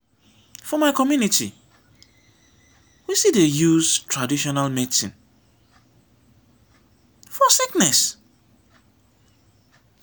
for my community we still dey use traditional medicine for sickness.